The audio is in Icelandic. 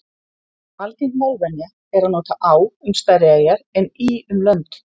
algeng málvenja er að nota á um stærri eyjar en í um lönd